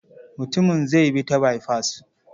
Mutumin zai bi ta baifas.